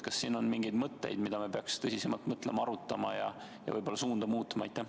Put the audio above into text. Kas on mingeid mõtteid, mida me peaksime tõsisemalt arutama ja võib-olla suunda muutma?